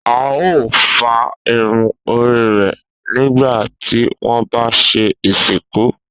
A o fá irun orí rẹ̀ nígbà tí wọ́n bá ń ṣe ìsìnkú.